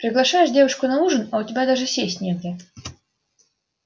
приглашаешь девушку на ужин а у тебя даже сесть негде